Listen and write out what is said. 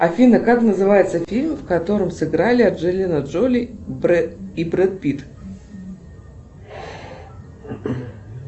афина как называется фильм в котором сыграли анджелина джоли и бред пит